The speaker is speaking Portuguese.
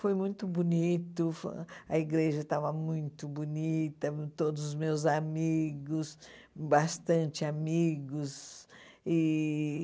Foi muito bonito, foi a igreja estava muito bonita, todos os meus amigos, bastante amigos e